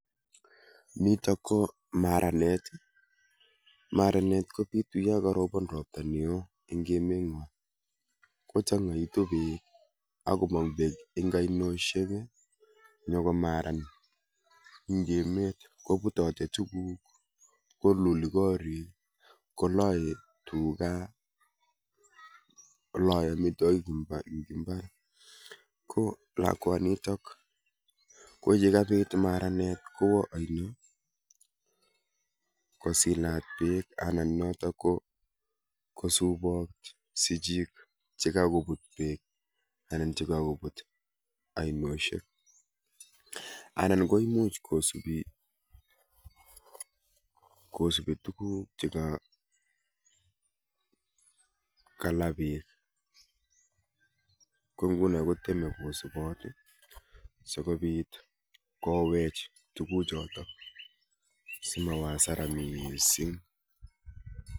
Nitok ko maranet. Maranet kobitu yo karobon robta neo eng' emet ng'uo, kochang'aitu beek akomong beek eng' ainoishek ii nyokomaran eng' emet, kobutote tuguuk, koluli koriik, koloe tuga, koloe amitwogik eng' imbar, ko lakwanitok ko ye kabit maranet kowo aino kosilat beek anan notok ko kosubot sichik chekakobut beek anan chekakobut ainoshek. Anan koimuch kosubi, kosubi tuguuk cheka kala beek. Ko nguno koteme kosubot ii sikobit kowech tuguchotok simawo asara missing.